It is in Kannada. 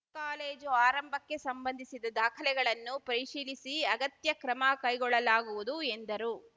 ಕಾಲೇಜು ಆರಂಭಕ್ಕೆ ಸಂಬಂಧಿಸಿದ ದಾಖಲೆಗಳನ್ನು ಪರಿಶೀಲಿಸಿ ಅಗತ್ಯ ಕ್ರಮ ಕೈಗೊಳ್ಳಲಾಗುವುದು ಎಂದರು